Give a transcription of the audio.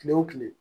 Kile wo kile